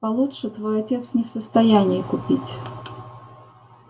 получше твой отец не в состоянии купить